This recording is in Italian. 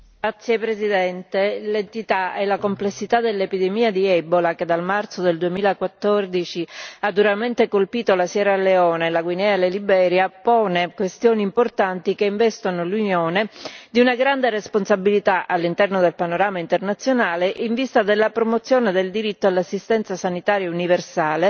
Signor Presidente, onorevoli colleghi, l'entità e la complessità dell'epidemia di Ebola, che dal marzo del 2014 ha duramente colpito la Sierra Leone, la Guinea e la Liberia, pongono questioni importanti che investono l'Unione di una grande responsabilità, all'interno del panorama internazionale, in vista della promozione del diritto all'assistenza sanitaria universale,